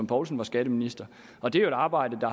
poulsen var skatteminister og det er jo et arbejde